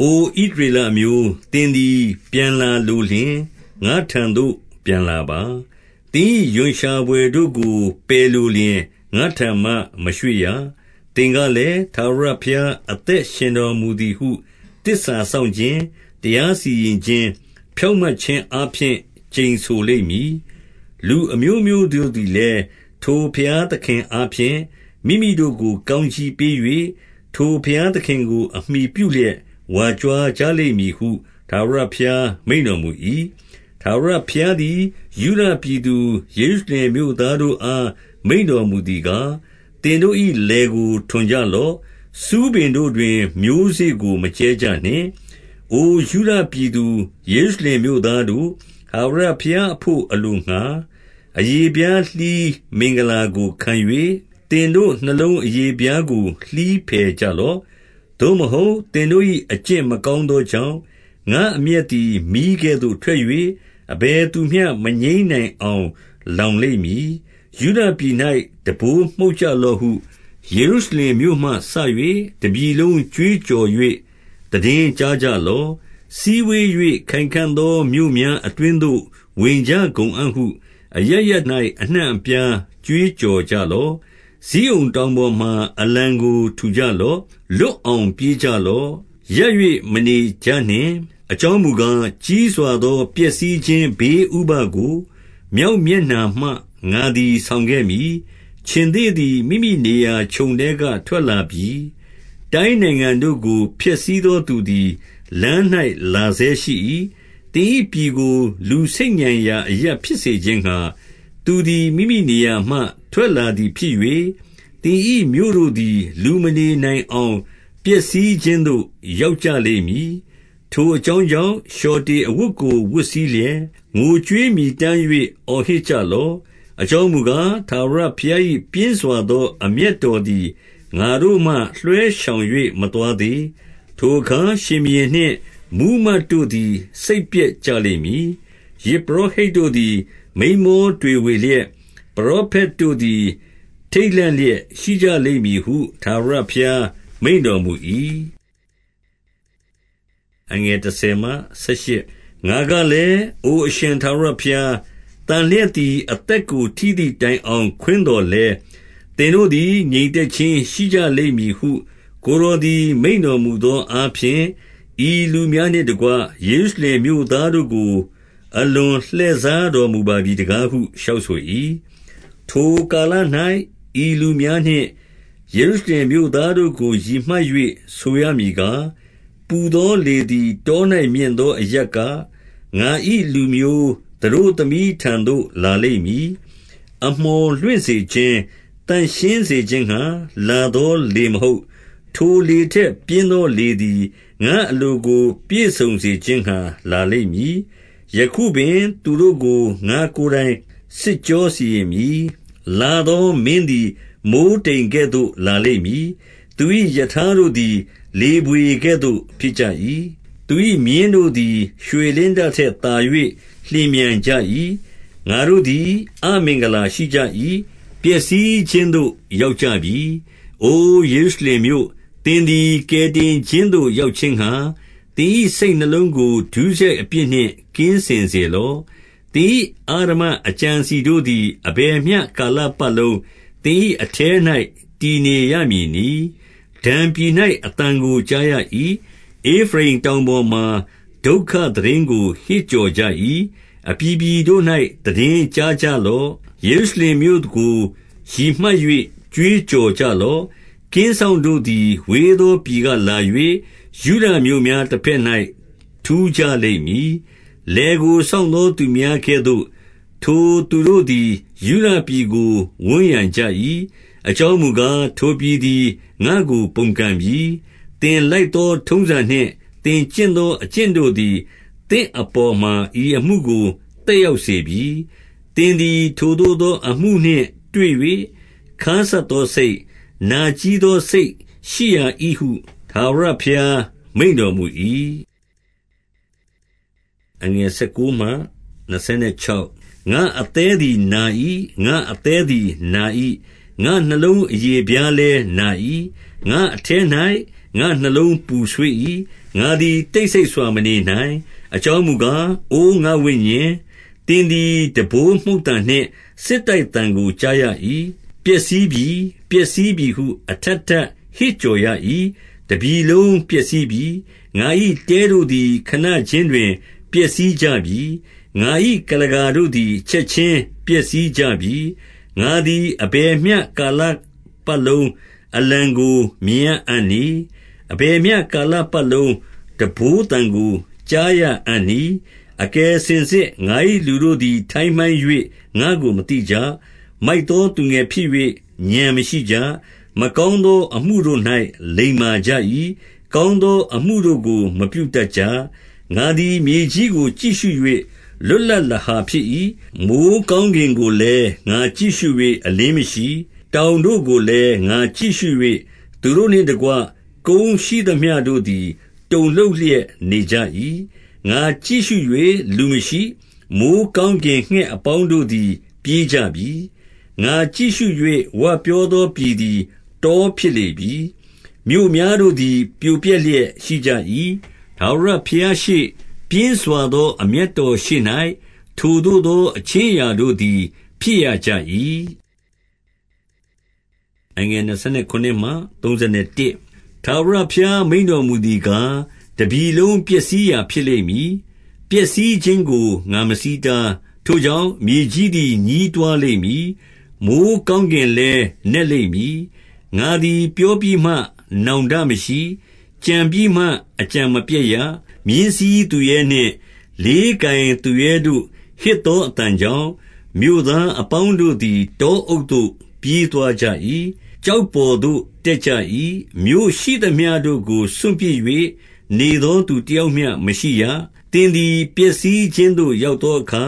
အို ဣသရေလအမျိုး၊ သင်သည် ပြန်လာလိုလျှင် ငါ့ထံသို့ ပြန်လာပါ။ သင်၏ရွံရှာဘွယ်တို့ကို ပယ်လိုလျှင် ငါ့ထံမှမရွှေ့ရ။ 2 သင်ကလည်း၊ ထာဝရဘုရား အသက်ရှင်တော်မူ သည်ဟု သစ္စာစောင့်ခြင်း၊ တရားစီရင်ခြင်း၊ ဖြောင့်မတ် ခြင်းအားဖြင့် ကျိန်ဆိုလိမ့်မည်။ လူအမျိုးမျိုးတို့သည် လည်း၊ ထိုဘုရားသခင်အားဖြင့် မိမိတို့ကို ကောင်းကြီး ပေး၍၊ ထိုဘုရားသခင်ကို အမှီပြုလျက် ဝါကြွားကြလိမ့် မည်ဟု ထာဝရဘုရား မိန့်တော်မူ၏။ 3 ထာဝရဘုရားသည် ယုဒပြည်သူယေရုရှလင်မြို့ သားတို့အား မိန့်တော်မူသည်ကား၊ သင်တို့၏ လယ်ကို ထွန်ကြလော့။ ဆူးပင်တို့တွင် မျိုးစေ့ကို မကြဲကြနှင့်။ 4 အို ယုဒပြည်သူ ယေရုရှလင်မြို့သားတို့၊ ထာဝရ ဘုရားအဘို့အလိုငှါ အရေဖျားလှီး မင်္ဂလာကိုခံ၍၊ သင်တို့ နှလုံး အရေဖျားကို လှီးဖယ်ကြလော့။ သို့မဟုတ်၊ သင်တို့၏ အကျင့်မကောင်းသောကြောင့်၊ ငါအမျက်သည်မီးကဲ့သို့ထွက်၍၊ အဘယ်သူမျှ မငြိမ်းနိုင် အောင် လောင်လိမ့်မည်။ 5 ယုဒပြည်၌ တံပိုးမှုတ်ကြလော့ဟု၊ ယေရုရှလင်မြို့ မှစ၍ တပြည်လုံးကြွေးကြော်၍ သိတင်းကြားကြလော့။ စည်းဝေး၍ ခိုင်ခံ့သောမြို့များ အတွင်းသို့ ဝင်ကြကုန်အံ့ ဟုအရပ်ရပ်၌ အနှံ့အပြား ကြွေးကြော်ကြလော့။ 6 ဇိအုန်တောင်ပေါ်မှာ အလံကို ထူကြလော့။ လွတ်အောင် ပြေးကြလော့။ ရပ်၍ မနေကြနှင့်။ အကြောင်းမူကား၊ ကြီးစွာသော ပျက်စီးခြင်း ဘေးဥပဒ်ကို မြောက်မျက်နှာမှ ငါသည် ဆောင်ခဲ့မည်။ 7 ခြင်္သေ့သည် မိမိနေရာခြုံထဲက ထွက်လာပြီ။ တိုင်းနိုင်ငံတို့ကို ဖျက်ဆီးသောသူသည် လမ်း၌လာဆဲ ရှိ၏။ သင်၏ပြည်ကို လူဆိတ်ညံရာ အရပ်ဖြစ်စေခြင်းငှါ၊ သူသည် မိမိနေရာမှ ထွက်လာသည်ဖြစ်၍၊ သင်၏ မြို့တို့ သည် လူမနေနိုင်အောင် ပျက်စီးခြင်းသို့ ရောက်ကြလိမ့် မည်။ 8 ထိုအကြောင်းကြောင့် လျှော်တေအဝတ်ကို ဝတ်စည်းလျက်၊ ငိုကြွေးမြည်တမ်း၍ အော်ဟစ်ကြလော့။ အကြောင်းမူကား၊ ထာဝရဘုရား၏ ပြင်းစွာသော အမျက်တော်သည် ငါတို့မှ လွှဲရှောင်၍ မသွားသေး။ 9 ထိုအခါ ရှင်ဘုရင်နှင့်မှူးမတ်တို့သည် စိတ်ပျက် ကြလိမ့်မည်။ ယဇ်ပုရောဟိတ်တို့သည် မိန်းမောတွေဝေ လျက်၊ ပရောဖက်တို့သည် ထိတ်လန့်လျက်ရှိကြလိမ့်မည် ဟု ထာဝရဘုရား မိန့်တော်မူ၏။ 10 ငါကလည်း၊ အို အရှင်ထာဝရဘုရား၊ သန်လျက် သည် အသက် ကိုထိသည်တိုင်အောင် ခွင်းသော်လည်း၊ သင်တို့သည် ငြိမ်သက်ခြင်း ရှိကြလိမ့်မည်ဟု ကိုယ်တော် သည် မိန့်တော်မူသောအားဖြင့်၊ ဤလူများနှင့်တကွ ယေရုရှလင်မြို့သားတို့ကို အလွန်လှည့်စားတော်မူပါပြီ တကားဟု လျှောက်ဆို၏။ 11 ထိုကာလ၌ ဤလူများနှင့် ယေရုရှလင်မြို့သား တို့ကို ရည်မှတ်၍ ဆိုရမည်ကား၊ ပူသောလေသည် တော၌မြင့်သောအရပ်က ငါ၏လူမျိုး သတို့သမီးထံသို့ လာလိမ့်မည်။ အမှော်လွင့်စေခြင်း၊ သန့်ရှင်းစေခြင်းငှါ လာသော လေမဟုတ်။ 12 ထိုလေထက်ပြင်းသော လေသည် ငါ့အလိုကို ပြည့်စုံစေခြင်းငှါ လာလိမ့်မည်။ ယခုပင် သူတို့ကို ငါ့ကိုယ်တိုင် စစ်ကြောစီရင်မည်။ 13 လာသောမင်းသည် မိုဃ်းတိမ်ကဲ့သို့ လာလိမ့် မည်။ သူ၏ရထားတို့သည် လေဘွေကဲ့သို့ဖြစ်ကြ၏။ သူ၏မြင်းတို့သည် ရွှေလင်းတထက် သာ၍ လျင်မြန် ကြ၏။ ငါတို့သည် အမင်္ဂလာရှိကြ၏။ ပျက်စီးခြင်းသို့ ရောက်ကြပြီ။ 14 အို ယေရုရှလင်မြို့၊ သင်သည် ကယ်တင်ခြင်းသို့ ရောက်ခြင်းငှါ၊ သင်၏စိတ်နှလုံးကို ဒုစရိုက်အပြစ်နှင့် ကင်းစင်စေလော့။ သင်၏အဓမ္မအကြံအစည်တို့သည် အဘယ်မျှ ကာလပတ်လုံး သင်၏ အထဲ၌တည်နေရမည် နည်း။ 15 ဒန်ပြည်၌ အသံကို ကြားရ၏။ ဧဖရိမ်တောင် ပေါ်မှာ ဒုက္ခသိတင်းကို ဟစ်ကြော်ကြ၏။ 16 အပြည်ပြည်တို့၌ သိတင်းကြားကြလော့။ ယေရု ရှလင်မြို့ကို ရည်မှတ်၍ ကြွေးကြော်ကြလော့။ ကင်းစောင့် တို့သည် ဝေးသောပြည်က လာ၍၊ ယုဒမြို့များ တဘက်၌ ထူးကြလိမ့်မည်။ 17 လယ်ကိုစောင့်သောသူများကဲ့သို့၊ ထိုသူတို့သည် ယုဒပြည်ကို ဝန်းရံကြ၏။ အကြောင်းမူကား၊ ထိုပြည် သည် ငါ့ကို ပုန်ကန်ပြီ။ 18 သင်လိုက်သောထုံးစံနှင့် သင်ကျင့်သော အကျင့် တို့သည် သင့်အပေါ်မှာ ဤအမှုကို သက်ရောက်စေပြီ။ သင်သည် ထိုသို့သော အမှုနှင့် တွေ့၍ ခါးစပ်သောစိတ်၊ နာကြည်းသော စိတ်ရှိရာ၏ဟု ထာဝရဘုရား မိန့်တော် မူ၏။ 19 ငါ့အသည်းသည်နာ၏။ ငါ့အသည်းသည်နာ၏။ ငါ့နှလုံးအရေဖျားလည်းနာ၏။ ငါ့အထဲ၌ ငါ့နှလုံးပူဆွေး ၏။ ငါသည် တိတ်ဆိတ်စွာ မနေနိုင်။ အကြောင်းမူကား၊ အိုငါ့ဝိညာဉ်၊ သင်သည် တံပိုးမှုတ်သံနှင့် စစ်တိုက်သံကို ကြားရ၏။ 20 ပျက်စီးပြီ၊ ပျက်စီးပြီဟု အထပ်ထပ် ဟစ်ကြော် ရ၏။ တပြည်လုံးပျက်စီးပြီ။ ငါ၏တဲတို့သည် ခဏခြင်း တွင် ပျက်စီးကြပြီ။ ငါ၏ကုလားကာတို့သည် ချက်ခြင်း ပျက်စီးကြပြီ။ 21 ငါသည် အဘယ်မျှကာလပတ်လုံး အလံကို မြင်ရအံ့နည်း။ အဘယ်မျှကာလပတ်လုံး တံပိုးသံကို ကြားရအံ့နည်း။ 22 အကယ်စင်စစ် ငါ၏လူတို့သည် ထိုင်းမှိုင်း၍ ငါ့ကို မသိကြ။ မိုက်သောသူငယ်ဖြစ်၍ ဥာဏ်မရှိကြ။ မကောင်းသော အမှုတို့၌ လိမ္မာကြ၏။ ကောင်းသောအမှု တို့ကို မပြုတတ်ကြ။ 23 ငါသည်မြေကြီးကိုကြည့်ရှု၍ လွတ်လပ်လဟာ ဖြစ်၏။ မိုဃ်းကောင်းကင်ကိုလည်း ငါကြည့်ရှု၍ အလင်း မရှိ။ 24 တောင်တို့ကိုလည်း ငါကြည့်ရှု၍၊ သူတို့နှင့်တကွ ကုန်းရှိသမျှတို့သည် တုန်လှုပ်လျက်နေကြ၏။ 25 ငါကြည့်ရှု၍ လူမရှိ။ မိုဃ်းကောင်းကင်ငှက် အပေါင်းတို့သည် ပြေးကြပြီ။ 26 ငါကြည့်ရှု၍ ဝပြောသော ပြည်သည် တောဖြစ် လေပြီ။ မြို့များတို့သည် ပြိုပျက်လျက်ရှိကြ၏။ ထာဝရ ဘုရားရှေ့၊ ပြင်းစွာသော အမျက်တော်ရှေ့၌ ထိုသို့သော အခြင်းအရာတို့သည် ဖြစ်ရကြ၏။ 27 ထာဝရဘုရားမိန့်တော်မူသည်ကား၊ တပြည် လုံးပျက်စီးရာ ဖြစ်လိမ့်မည်။ ပျက်စီးခြင်းကို ငါမဆီးတား၊ 28 ထိုကြောင့်၊ မြေကြီးသည် ညည်းတွားလိမ့်မည်။ မိုဃ်းကောင်းကင်လည်း နက်လိမ့်မည်။ ငါသည် ပြောပြီးမှ နောင်တမရှိ။ ကြံပြီးမှ အကြံမပျက်ရ။ 29 မြင်းစီးသူရဲနှင့် လေးကိုင်သူရဲတို့ ဟစ်သော အသံကြောင့်၊ မြို့သားအပေါင်းတို့သည် တောအုပ်သို့ ပြေးသွားကြ၏။ ကျောက်ပေါ်သို့ တက်ကြ၏။ မြို့ရှိသမျှ တို့ကို စွန့်ပစ်၍ နေသောသူတယောက်မျှ မရှိရ။ 30 သင်သည် ပျက်စီးခြင်းသို့ ရောက်သောအခါ